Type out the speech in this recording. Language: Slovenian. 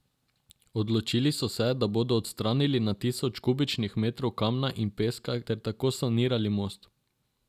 Odločili so se, da bodo odstranili na tisoče kubičnih metrov kamna in peska ter tako sanirali most.